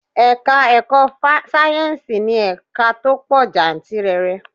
Ẹ̀ka-ẹ̀kọ́ sáyẹ́nsì ní ẹ̀ka tó pọ̀ jantìrẹrẹ.